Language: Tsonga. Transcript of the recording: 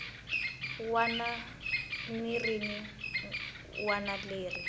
wana ni rin wana leri